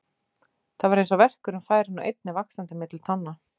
Það var eins og verkurinn færi nú einnig vaxandi milli tánna.